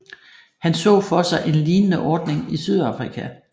Han så for sig en lignende ordning i Sydafrika